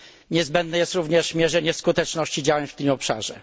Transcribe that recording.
Niezbędne jest również mierzenie skuteczności działań w tym obszarze.